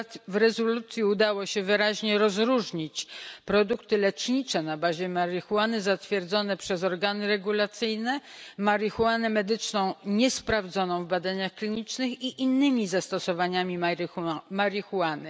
W rezolucji udało się wyraźnie rozróżnić produkty lecznicze na bazie marihuany zatwierdzone przez organy regulacyjne, marihuanę medyczną niesprawdzoną w badaniach klinicznych i inne zastosowania marihuany.